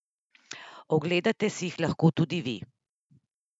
Ogledate si jih lahko tudi vi!